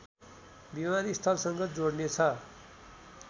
विमानस्थलसँग जोड्ने छ